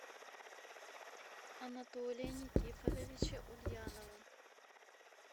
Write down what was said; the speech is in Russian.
анатолия никифоровича ульянова